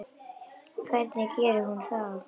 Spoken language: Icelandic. Hvernig gerir hún það?